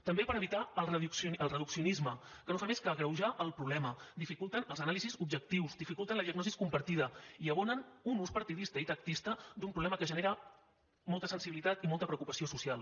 també per evitar el reduccionisme que no fa més que agreujar el problema dificulten les anàlisis objectives dificulten la diagnosi compartida i abonen un ús partidista i tactista d’un problema que genera molta sensibilitat i molta preocupació social